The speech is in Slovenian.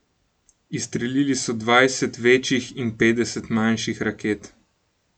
Izstrelili so dvajset večjih in petdeset manjših raket.